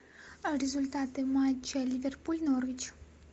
результаты матча ливерпуль норвич